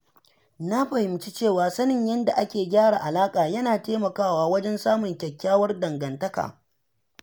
Na fahimci cewa sanin yadda ake gyara alaƙa yana taimakawa wajen samun kyakkyawar dangantaka.